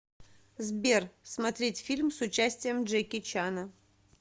сбер смотреть фильм с участием джеки чана